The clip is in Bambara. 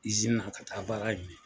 na ka taa baara .